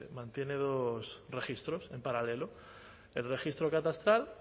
mantiene dos registros en paralelo el registro catastral